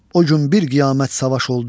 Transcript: O gün bir qiyamət savaş oldu.